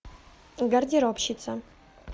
гардеробщица